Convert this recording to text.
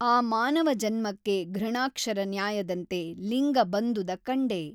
ಆ ಮಾನವಜನ್ಮಕ್ಕೆ ಘೃಣಾಕ್ಷರ ನ್ಯಾಯದಂತೆ ಲಿಂಗ ಬಂದುದ ಕಂಡೆ।